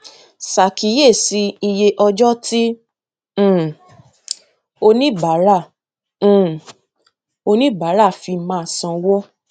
ìròyìn ọdọọdun ìwéìpamọ ọdọọdún iléiṣẹ tó ń ṣàfihàn iṣẹ àti iṣẹ ṣíṣe ìnáwó fún onípìndóje